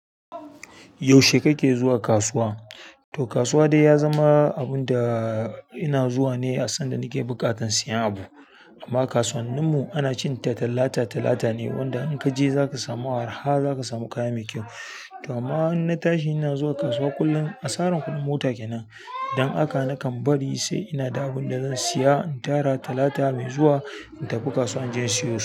Yaushe kake zuwa kasuwa? To kasuwa dai ya zama abun da ina zuwa ne a san da nake buƙatan siyan abu. Amma kasuwannin mu ana cin ta Talata Talata ne wanda in kaje zaka samu arha zaka samu kaya mai kyau. To amma in na tashi ina zuwa kasuwa kullum. Asaran kuɗin mota kenan. Idan haka nakan bari sai ina da abin da zan siya in tara Talata mai zuwa in tafi kasuwa in je in siyo su.